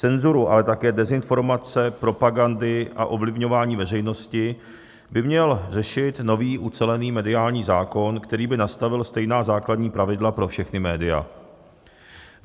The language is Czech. Cenzuru, ale také dezinformace, propagandy a ovlivňování veřejnosti by měl řešit nový ucelený mediální zákon, který by nastavil stejná základní pravidla pro všechna média.